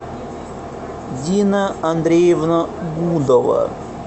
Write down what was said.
дина андреевна гудова